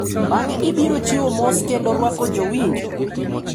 Bang’e biro chiwo mos kendo rwako jowinjo.